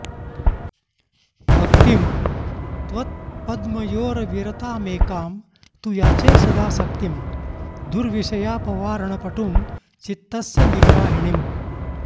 भक्तिं त्वत्पद्मयोरविरतामेकां तु याचे सदा शक्तिं दुर्विषयापवारणपटुं चित्तस्य निग्राहिणीम्